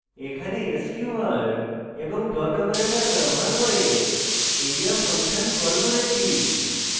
এখানে sqr এবং dot operator ব্যবহার করে area ফাংশন call করেছি